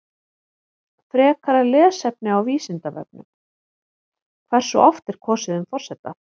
Frekara lesefni á Vísindavefnum: Hversu oft er kosið um forseta?